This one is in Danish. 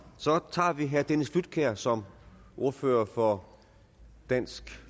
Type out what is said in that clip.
så tager vi herre dennis flydtkjær som ordfører for dansk